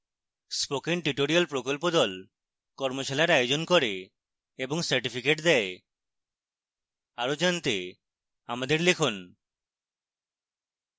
spoken tutorial প্রকল্প the কর্মশালার আয়োজন করে এবং certificates দেয় আরো জানতে আমাদের লিখুন